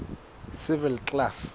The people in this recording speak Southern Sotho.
civil class